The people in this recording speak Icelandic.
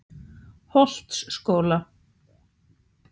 Holtsskóla